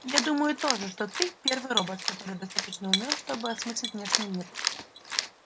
я думаю тоже что ты первый робот который достаточно умён чтобы осмыслить внешний мир